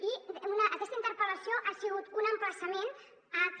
i aquesta interpel·lació ha sigut un emplaçament a que